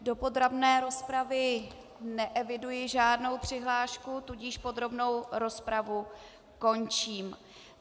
Do podrobné rozpravy neeviduji žádnou přihlášku, tudíž podrobnou rozpravu končím.